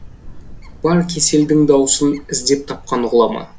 бар кеселдің дауасын іздеп тапқан ғұлама